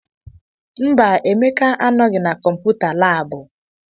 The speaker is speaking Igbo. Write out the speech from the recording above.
Mba, Emeka anọghị na kọmputa laabụ.